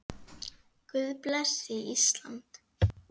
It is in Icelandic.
Guð blessi Ísland.